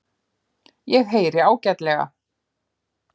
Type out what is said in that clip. Ég heyri ágætlega.